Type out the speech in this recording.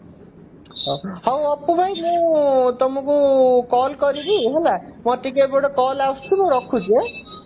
ହଉ ଆପୁ ଭାଇ ମୁଁ ତମକୁ call କରିବି ହେଲା ମୋର ଟିକେ ଏପଟେ call ଆସୁଛି ମୁଁ ରଖୁଛି ଆଁ